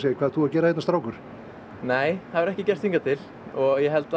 hvað ert þú að gera hérna strákur það hefur ekki gerst hingað til og